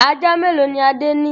Ajá mélòó ni Adé ní?